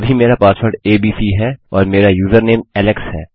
अभी मेरा password ABC है और मेरा यूज़रनेम एलेक्स है